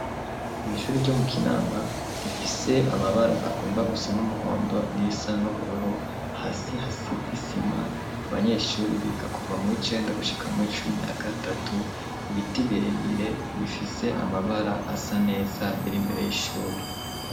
Mw'ishuri ryo mu kinama rifise amabara agomba gusa n'umuhondo n'irisa n'uburoro hasi hasi visima abanyeshuri biga kuva mw icenda gushika mwo icumi na gatatu ibiti birebire bifise amabara asa neza bire imbere y'ishuri.